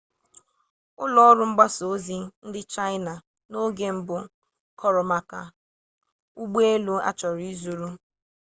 ụlọ ọrụ mgbasa ozi ndị chaịna n'oge mbụ kọrọ maka ụgbọ elu a chọrọ izuru